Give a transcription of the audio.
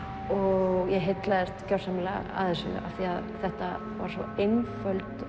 og ég heillaðist gjörsamlega af þessu af því þetta var svo einföld